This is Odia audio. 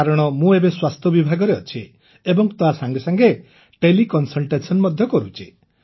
କାରଣ ମୁଁ ଏବେ ସ୍ୱାସ୍ଥ୍ୟ ବିଭାଗରେ ଅଛି ଏବଂ ତାସଙ୍ଗେ ସଙ୍ଗେ ତେଲେ କନସଲଟେସନ ମଧ୍ୟ କରୁଛି